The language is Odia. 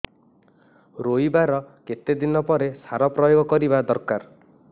ରୋଈବା ର କେତେ ଦିନ ପରେ ସାର ପ୍ରୋୟାଗ କରିବା ଦରକାର